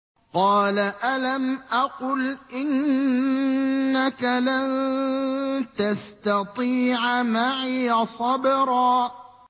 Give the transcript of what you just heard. قَالَ أَلَمْ أَقُلْ إِنَّكَ لَن تَسْتَطِيعَ مَعِيَ صَبْرًا